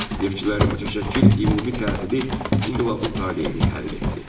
Neftçilərin mütəşəkkil ümumi tətili inqilabın taleyini həll etdi.